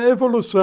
É, evolução.